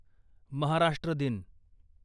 महाराष्ट्र दिन